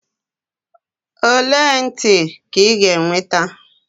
ole ntị ka ị ga-enweta?